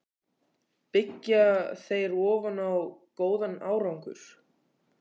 Byggja þeir ofan á góðan árangur?